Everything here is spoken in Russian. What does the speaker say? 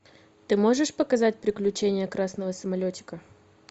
ты можешь показать приключения красного самолетика